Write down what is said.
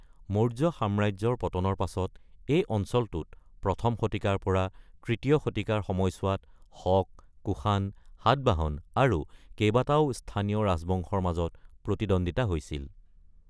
মৌৰ্য সাম্ৰাজ্যৰ পতনৰ পাছত এই অঞ্চলটোত ১ম শতিকাৰ পৰা ৩য় শতিকাৰ সময়ছোৱাত শক, কুষাণ, সাতবাহন আৰু কেইবাটাও স্থানীয় ৰাজবংশৰ মাজত প্ৰতিদ্বন্দিতা হৈছিল।